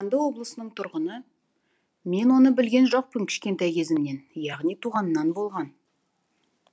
қарағанды облысының тұрғыны мен оны білген жоқпын кішкентай кезімнен яғни туғаннан болған